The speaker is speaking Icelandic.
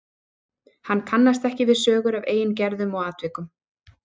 Hann kannast ekki við sögur af eigin gerðum og atvikum.